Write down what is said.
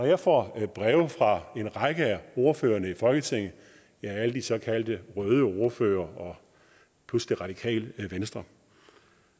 jeg får breve fra en række af ordførerne i folketinget alle de såkaldte røde ordførere plus det radikale venstre